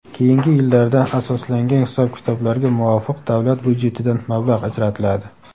keyingi yillarda asoslangan hisob-kitoblarga muvofiq davlat byudjetidan mablag‘ ajratiladi.